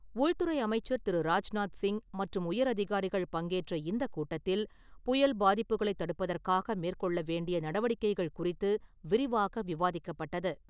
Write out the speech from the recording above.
உள்துறை அமைச்சர் திரு. ராஜ்நாத் சிங் மற்றும் உயர் அதிகாரிகள் பங்கேற்ற இந்த கூட்டத்தில், புயல் பாதிப்புகளை தடுப்பதற்காக மேற்கொள்ள வேண்டிய நடவடிக்கைகள் குறித்து விரிவாக விவாதிக்கப்பட்டது.